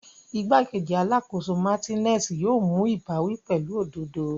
Igbakeji Alakoso Martinez yoo mu ibawi pẹlu ododo.